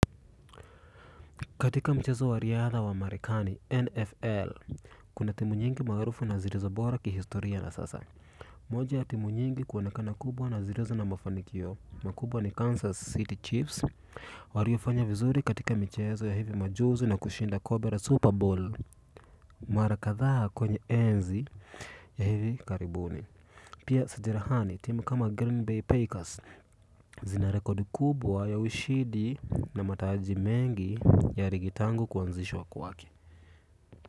Katika mchezo wa riadha wa merikani, NFL, kuna timu nyingi maarufu na zilizo bora ki historia na sasa. Moja ya timu nyingi kuonekana kubwa na zilizo na mafanikio, makubwa ni Kansas City Chiefs, waliofanya vizuri katika michezo ya hivi majuzi na kushinda kobra Super Bowl, mara kadhaa kwenye enzi ya hivi karibuni. Pia sajirahani timu kama Green Bay Pakers zina rekodi kubwa ya ushidi na mataaji mengi ya rigitangu kuanzishwa kuwake.